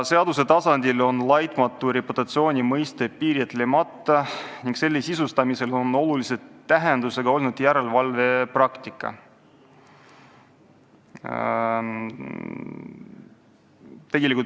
Seaduse tasandil on laitmatu reputatsiooni mõiste piiritlemata ning selle sisustamisel on väga tähtis olnud järelevalve praktika.